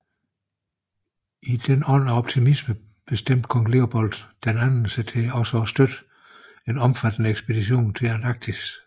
I denne ånd af optimisme bestemte kong Leopold II sig til også at støtte en omfattende ekspedition til Antarktis